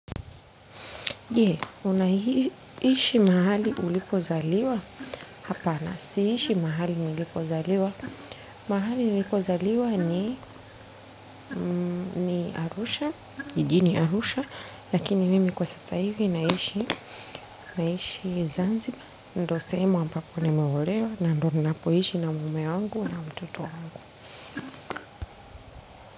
Je, unaishi mahali ulipozaliwa hapana, siishi mahali nilipozaliwa, mahali nilipozaliwa ni ni Arusha, jijini Arusha, lakini mimi kwa sasa hivi naishi, naishi zanziba, ndio sehemu ambapo nimeolewa, na ndio napoishi na mume wangu na mtoto wangu.